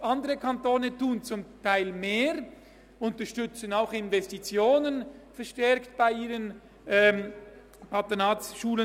Andere Kantone tun zum Teil mehr, sie unterstützen ihre Patronatsschulen verstärkt auch mit Investitionen.